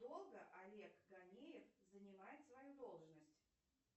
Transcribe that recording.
долго олег ганеев занимает свою должность